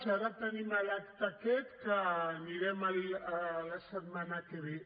ara tenim l’acte aquest a què anirem la setmana que ve